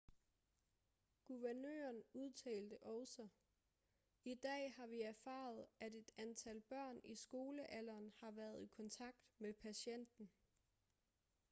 guvernøren udtalte også i dag har vi erfaret at et antal børn i skolealderen har været i kontakt med patienten